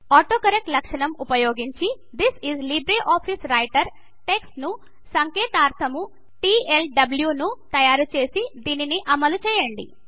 autocorrect లక్షణం ఉపయోగించి this is LibreOffice Writer text కు సంకేతాక్షరము టీఎల్డ్ల్యూ ను తయారు చేసి దాని అమలు చూడండి